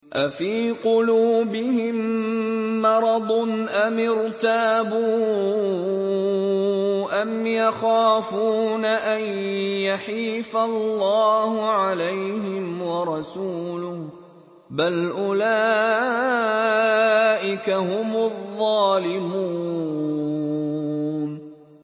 أَفِي قُلُوبِهِم مَّرَضٌ أَمِ ارْتَابُوا أَمْ يَخَافُونَ أَن يَحِيفَ اللَّهُ عَلَيْهِمْ وَرَسُولُهُ ۚ بَلْ أُولَٰئِكَ هُمُ الظَّالِمُونَ